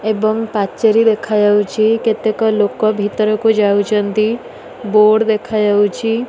ଏବଂ ପାଚେରୀ ଦେଖାଯାଉଚି କେତେକ ଲୋକ ଭିତରକୁ ଯାଉଛନ୍ତି ବୋର୍ଡ ଦେଖାଯାଉଚି।